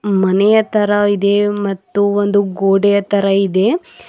ಮನೆಯ ತರ ಇದೆ ಮತ್ತು ಒಂದು ಗೋಡೆಯ ತರ ಇದೆ.